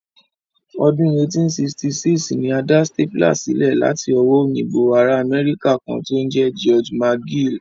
Ọdún 1866 ni a dá stapler sílẹ̀ láti owó òyìnbó ará Amẹ́ríkà kan tí ń jẹ́ George McGill